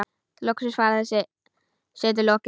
Loks var þessari setu lokið.